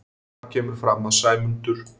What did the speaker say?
Þar kemur fram að Sæmundur